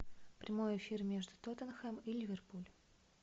прямой эфир между тоттенхэм и ливерпуль